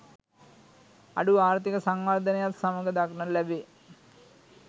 අඩු ආර්ථීක සංවර්ධනයත් සමඟ දක්නට ලැබේ.